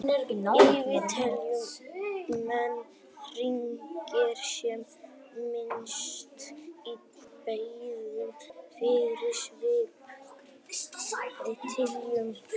Yfirleitt telja menn hringi sem myndast í beinvef þeirra, svipað og hjá trjám.